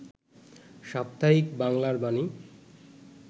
সাপ্তাহিক 'বাংলার বাণী'